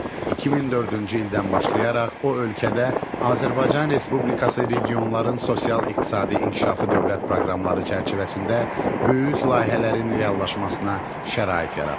2004-cü ildən başlayaraq o ölkədə Azərbaycan Respublikası regionların sosial-iqtisadi inkişafı dövlət proqramları çərçivəsində böyük layihələrin reallaşmasına şərait yaratdı.